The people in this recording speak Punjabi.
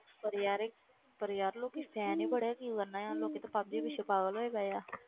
ਪਰ ਯਾਰ ਪਰ ਯਾਰ ਲੋਕੀ fan ਹੀ ਬੜੇ ਕੀ ਕਰਨਾ ਯਾਰ ਲੋਕੀ ਤੇ ਪੱਬਜੀ ਪਿੱਛੇ ਪਾਗਲ ਹੋਏ ਪਏ ਆ